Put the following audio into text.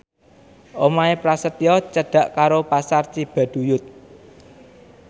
omahe Prasetyo cedhak karo Pasar Cibaduyut